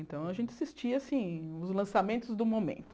Então, a gente assistia, assim, os lançamentos do momento.